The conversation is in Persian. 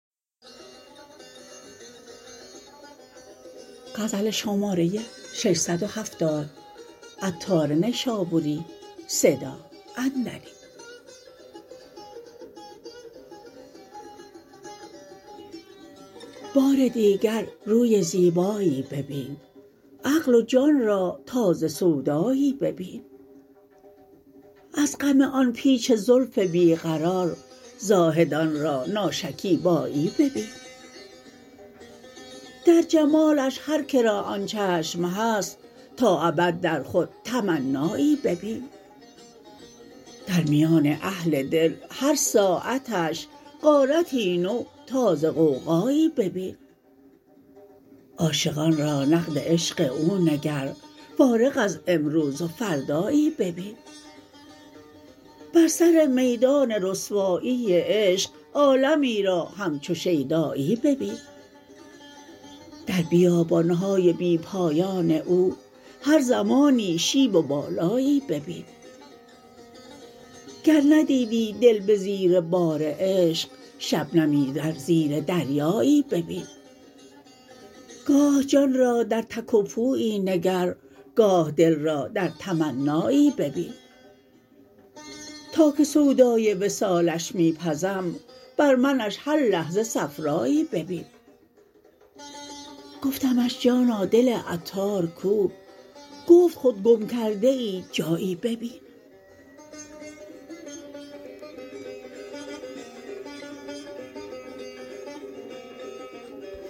بار دیگر روی زیبایی ببین عقل و جان را تازه سودایی ببین از غم آن پیچ زلف بیقرار زاهدان را ناشکیبایی ببین در جمالش هر که را آن چشم هست تا ابد در خود تمنایی ببین در میان اهل دل هر ساعتش غارتی نو تازه غوغایی ببین عاشقان را نقد عشق او نگر فارغ از امروز و فردایی ببین بر سر میدان رسوایی عشق عالمی را همچو شیدایی ببین در بیابان های بی پایان او هر زمانی شیب و بالایی ببین گر ندیدی دل به زیر بار عشق شبنمی در زیر دریایی ببین گاه جان را در تک و پویی نگر گاه دل را در تمنایی ببین تا که سودای وصالش می پزم بر منش هر لحظه صفرایی ببین گفتمش جانا دل عطار کو گفت خود گم کرده ای جایی ببین